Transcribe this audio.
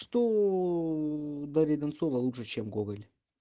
что дарья донцова лучше чем гоголь